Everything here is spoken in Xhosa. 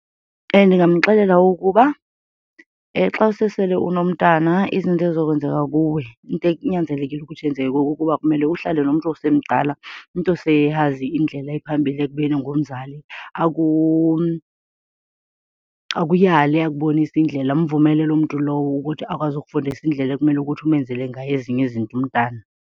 Ndingamxelela ukuba xa usesele unomntana izinto ezizokwenzeka kuwe, into ekunyanzelekile ukuthi yenzeke kuwe kukuba kumele uhlale nomntu osemdala, umntu oseyazi indlela ephambili ekubeni ngumzali, akuyale akubonise indlela. Mvumele loo mntu lowo ukuthi akwazi ukukufundisa indlela ekumele ukuthi umenzele ngayo ezinye izinto umntana.